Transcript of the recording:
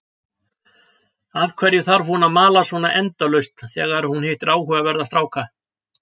Af hverju þarf hún að mala svona endalaust þegar hún hittir áhugaverða stráka?